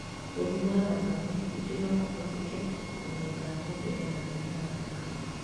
Gũthima thakame ningĩ no kũhũthĩke kũmenya kana mũundũ ena mũrim wa thakame